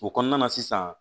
O kɔnɔna na sisan